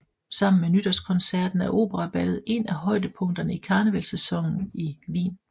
Sammen med Nytårskoncerten er operaballet en af højdepunkterne i karnevalssæsonen i Wien